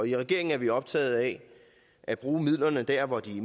i regeringen er vi optaget af at bruge midlerne dér hvor de